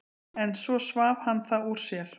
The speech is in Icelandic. En svo svaf hann það úr sér.